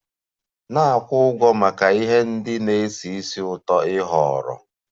Na-akwụ ụgwọ maka ihe ndị na-esi ísì ụtọ ị họọrọ!